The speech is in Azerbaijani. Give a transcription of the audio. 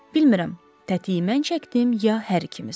Bilmirəm, tətii mən çəkdim, ya hər ikimiz.